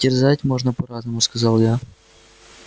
терзать можно по-разному сказал я